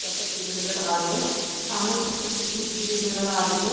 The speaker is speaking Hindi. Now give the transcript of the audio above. ज्यादा पेड़ नजर आ रहे हैं सामने कुछ कच्ची मिट्टी भी नजर आ रही है।